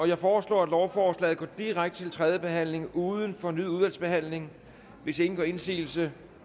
jeg foreslår at lovforslaget går direkte til tredje behandling uden fornyet udvalgsbehandling hvis ingen gør indsigelse